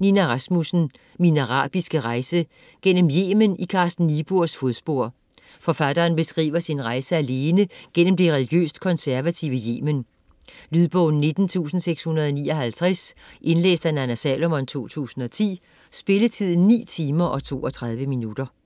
Rasmussen, Nina: Min arabiske rejse: gennem Yemen i Carsten Niebuhrs fodspor Forfatteren beskriver sin rejse alene gennem det religiøst konservative Yemen. Lydbog 19659 Indlæst af Nanna Salomon, 2010. Spilletid: 9 timer, 32 minutter.